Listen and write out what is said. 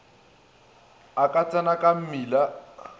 a ka tsena ka mmila